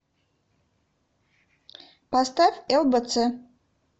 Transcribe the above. поставь лбц